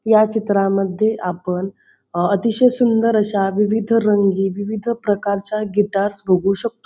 ह्या चित्रामध्ये आपण अतिशय सुंदर अश्या विविध रंगी विविध प्रकारच्या गिटारस बघू शकतो.